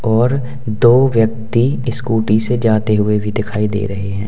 और दो व्यक्ति स्कूटी से जाते हुए भी दिखाई दे रहे हैं।